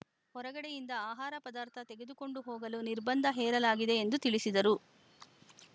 ಹೊರಗಡೆಯಿಂದ ಆಹಾರ ಪದಾರ್ಥ ತೆಗೆದುಕೊಂಡು ಹೋಗಲು ನಿರ್ಬಂಧ ಹೇರಲಾಗಿದೆ ಎಂದು ತಿಳಿಸಿದರು